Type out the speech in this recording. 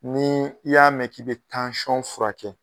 Ni i y'a mɛn k'i bɛ tansɔn fura kɛ.